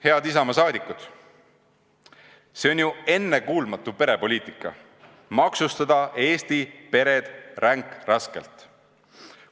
Head Isamaa liikmed, see on ju ennekuulmatu perepoliitika – maksustada Eesti pered ränkraskelt!